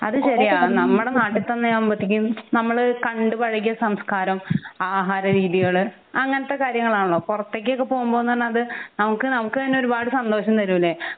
അത് ശെരിയാണ് നമ്മുടെ നാട്ടിൽ തന്നെ ആകുമ്പോഴത്തേക്കും നമ്മൾ കണ്ട് പഴകിയ സംസ്കാരം ആഹാര രീതികൾ അങ്ങിനത്തെ കാര്യങ്ങളാണല്ലോ പൊറത്തേകോക്കെ പോകുമ്പൊന്ന് പറഞ്ഞാൽ അത് നമുക് നമുക്ക് തന്നെ ഒരുപാട് സന്തോഷം തരുലെ